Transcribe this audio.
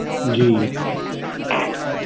ਜੀ